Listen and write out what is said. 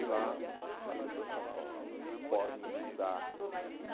E lá as pessoas podem estudar.